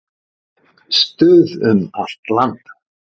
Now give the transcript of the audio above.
Stuð um allt land